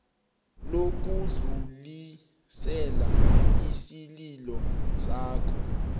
lokudlulisela isililo sakho